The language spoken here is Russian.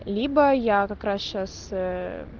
либо я как раз сейчас ээ